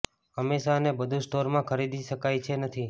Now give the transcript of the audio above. હંમેશા અને બધું સ્ટોર માં ખરીદી શકાય છે નથી